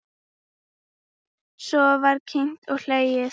Svo var kímt og hlegið.